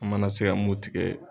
An mana se ka mun tigɛ